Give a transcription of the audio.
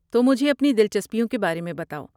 تو مجھے اپنی دلچسپیوں کے بارے میں بتاؤ۔